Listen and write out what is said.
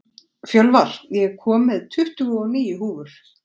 Fjölvar, ég kom með tuttugu og níu húfur!